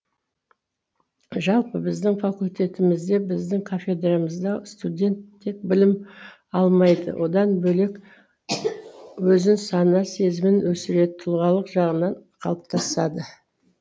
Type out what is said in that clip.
жалпы біздің факультетімізде біздің кафедрамызда студент тек білім алмайды одан бөлек өзін сана сезімін өсіреді тұлғалық жағынан қалыптасады